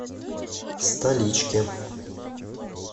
столички